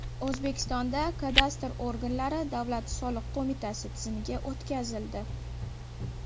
O‘zbekistonda kadastr organlari Davlat soliq qo‘mitasi tizimiga o‘tkazildi.